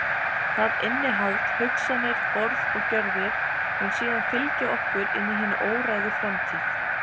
Það innihald, hugsanir, orð og gjörðir, mun síðan fylgja okkur inn í hina óræðu framtíð.